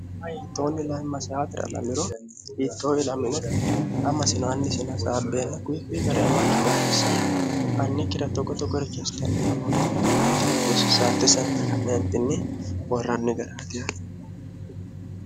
toonni layimmasaatira lamiro hiittooilamine amasino annisinasaabbeenna kuyi kuyi gareamakki garirissanni annekkiratto goto gorichohasitnni lamoottine ka'neentinni diloi ste n ka'neentinni horranni gariatiha